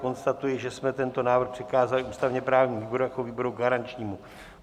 Konstatuji, že jsme tento návrh přikázali ústavně-právnímu výboru jako výboru garančnímu.